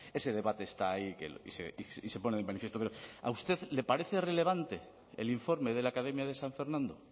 ese debate está ahí y se pone de manifiesto pero a usted le parece relevante el informe de la academia de san fernando